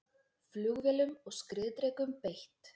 Flugvélum og skriðdrekum beitt